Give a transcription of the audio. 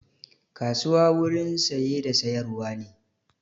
Kasuwa wurin saye da sayar wa ne